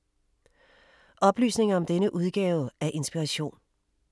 Oplysninger om denne udgave af Inspiration